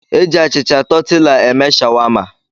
Eji achịcha tọtịla eme shawama.